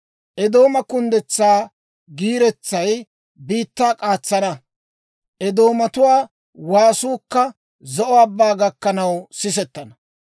Eedooma kunddetsaa giiretsay biittaa k'aatsana; Eedoomatuwaa waasuukka Zo'o Abbaa gakkanaw sisettana.